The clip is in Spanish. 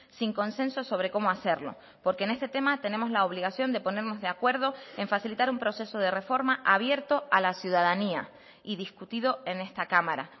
sin consenso sobre cómo hacerlo porque en este tema tenemos la obligación de ponernos de acuerdo en facilitar un proceso de reforma abierto a la ciudadanía y discutido en esta cámara